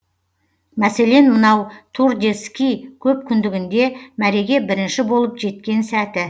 мәселен мынау тур де ски көпкүндігінде мәреге бірінші болып жеткен сәті